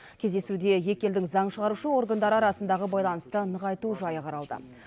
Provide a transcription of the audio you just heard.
кездесуде екі елдің заң шығарушы органдары арасындағы байланысты нығайту жайы қаралды